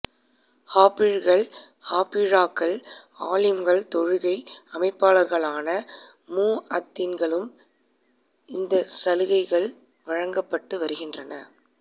ஹாபிழ்கள் ஹாபிழாக்கள் ஆலிம்கள் தொழுகை அழைப்பாளர்களான முஅத்தின்களுக்கும் இந்த சலுகைகள் வழங்கப் பட்டு வருகின்றன